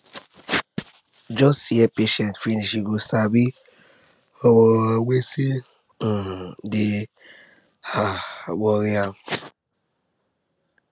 just hear patient finish you go sabi um wetin um dey um worry am